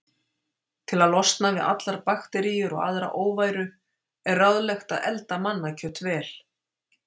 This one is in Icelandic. Til að losna við allar bakteríur og aðra óværu er ráðlegt að elda mannakjöt vel.